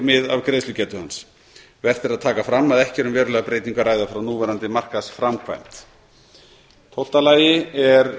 af greiðslugetu hans vert er að taka fram að ekki er um verulega breytingu að ræða frá núverandi markaðsframkvæmd tólf lagt er